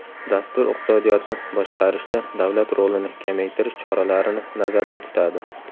Dastur iqtisodiyotni boshqarishda davlat rolini kamaytirish choralarini nazarda tutadi.